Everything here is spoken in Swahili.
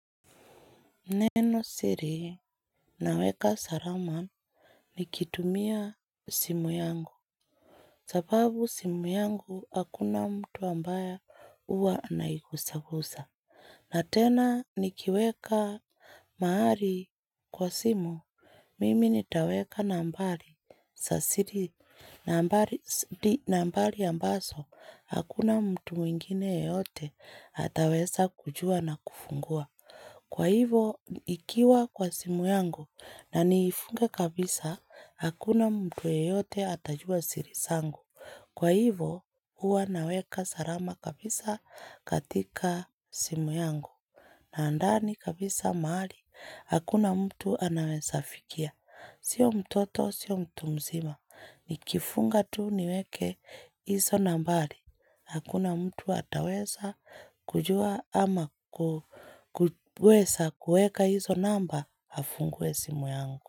Nenosiri naweka salama nikitumia simu yangu. Sababu simu yangu hakuna mtu ambaye huwa anaigusagusa. Na tena nikiweka mahali kwa simu. Mimi nitaweka nambari za siri nambari nambari ambazo. Hakuna mtu mwingine yeyote ataweza kujua na kufungua. Kwa hivyo, ikiwa kwa simu yangu na niifunge kabisa, hakuna mtu yeyote atajua siri zangu. Kwa hivyo, huwa naweka salama kabisa katika simu yangu. Na ndani kabisa mahali hakuna mtu anaweza fikia. Siyo mtoto, siyo mtu mzima. Nikifunga tu niweke hizo nambari. Hakuna mtu ataweza kujua ama kuweza kuweka hizo namba afungue simu yangu.